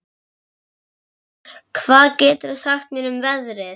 Mona, hvað geturðu sagt mér um veðrið?